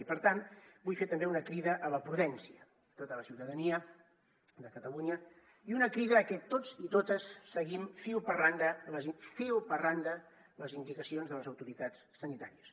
i per tant vull fer també una crida a la prudència a tota la ciutadania de catalunya i una crida a que tots i totes seguim fil per randa les indicacions de les autoritats sanitàries